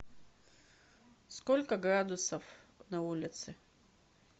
сколько градусов на улице